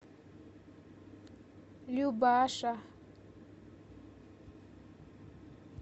любаша